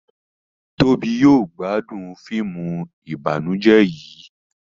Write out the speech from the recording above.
Tóbi yóò gbádùn fíìmù ìbànújẹ yí